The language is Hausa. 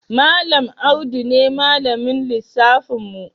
Malam Audu ne malamin lissafin mu.